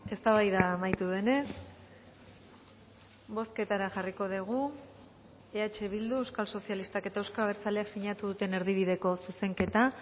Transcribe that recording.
eztabaida amaitu denez bozketara jarriko dugu eh bildu euskal sozialistak eta euzko abertzaleak sinatu duten erdibideko zuzenketa